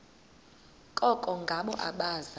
koko ngabo abaza